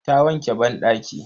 Ta wanke banɗaki.